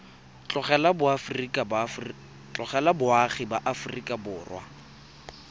tlogela boagi ba aforika borwa